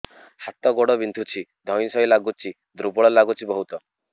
ହାତ ଗୋଡ ବିନ୍ଧୁଛି ଧଇଁସଇଁ ଲାଗୁଚି ଦୁର୍ବଳ ଲାଗୁଚି ବହୁତ